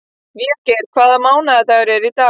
Végeir, hvaða mánaðardagur er í dag?